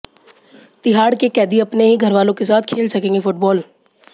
तिहाड़ के कैदी अपने ही घरवालों के साथ खेल सकेंगे फुटबॉल